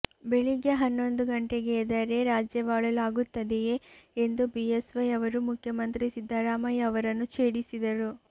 ಬೆಳಿಗ್ಗೆ ಹನ್ನೊಂದು ಗಂಟೆಗೆ ಎದ್ದರೆ ರಾಜ್ಯವಾಳಲು ಆಗುತ್ತದೆಯೇ ಎಂದು ಬಿಎಸ್ವೈ ಅವರು ಮುಖ್ಯಮಂತ್ರಿ ಸಿದ್ಧರಾಮಯ್ಯ ಅವರನ್ನು ಛೇಡಿಸಿದರು